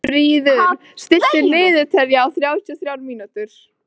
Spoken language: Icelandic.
Fríður, stilltu niðurteljara á þrjátíu og þrjár mínútur.